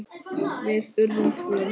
Við urðum tvö.